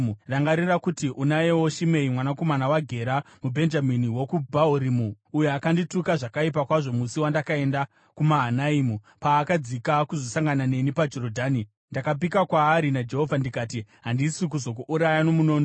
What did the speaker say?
“Rangarira kuti unayewo Shimei, mwanakomana waGera, muBhenjamini wokuBhahurimu, uyo akandituka zvakaipa kwazvo musi wandakaenda kuMahanaimi. Paakadzika kuzosangana neni paJorodhani, ndakapika kwaari naJehovha ndikati, ‘Handisi kuzokuuraya nomunondo.’